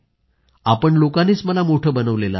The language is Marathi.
आपण लोकांनीच मला मोठं बनवलं आहे